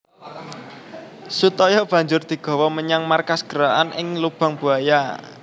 Sutoyo banjur digawa menyang markas gerakan ing Lubang Buaya